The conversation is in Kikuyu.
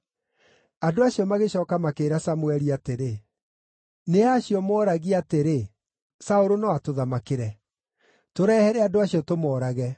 Andũ acio magĩcooka makĩĩra Samũeli atĩrĩ, “Nĩ a acio mooragia atĩrĩ, ‘Saũlũ no atũthamakĩre?’ Tũrehere andũ acio tũmoorage.”